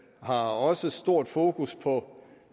har også stort fokus på